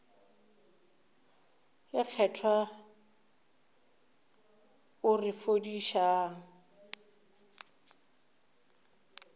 ye kgethwa o re fodišang